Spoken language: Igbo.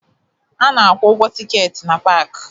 A na-akwụ ụgwọ tikeeti na paakị